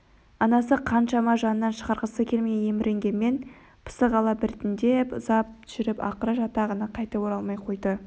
анасы қаншама жанынан шығарғысы келмей еміренгенмен пысық ала біртіндеп ұзап жүріп ақыры жатағына қайтып оралмай қойды